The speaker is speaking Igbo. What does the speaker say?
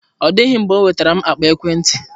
Ọ dịghị mgbe ọ nwetara m akpa ekwentị.